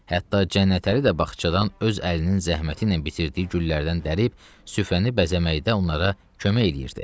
Hətta Cənnətəli də bağçadan öz əlinin zəhməti ilə bitirdiyi güllərdən dərib süfrəni bəzəməkdə onlara kömək eləyirdi.